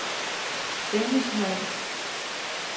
Stengelshøj